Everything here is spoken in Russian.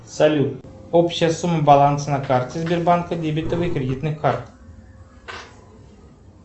салют общая сумма баланса на карте сбербанка дебетовой кредитной карт